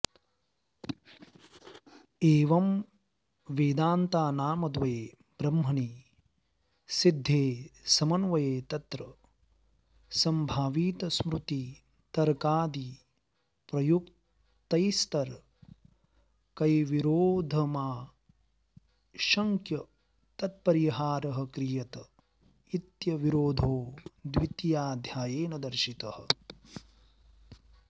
एवं वेदान्तानामद्वये ब्रह्मणि सिद्धे समन्वये तत्र संभावितस्मृतितर्कादिप्रयुक्तैस्तर्कैर्विरोधमाशङ्क्य तत्परिहारः क्रियत इत्यविरोधो द्वितीयाध्यायेन दर्शितः